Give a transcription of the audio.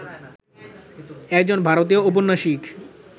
একজন ভারতীয় ঔপন্যাসিক